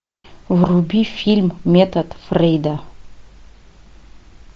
вруби фильм метод фрейда